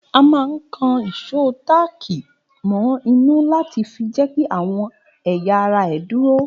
A máa ń kan ìsò táàkì mọ inú láti fi jẹ́kí àwọn ẹ̀yà ara ẹ dúró